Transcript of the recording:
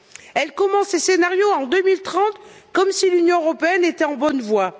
Elle commence les scénarios en 2030, comme si l'Union européenne était en bonne voie.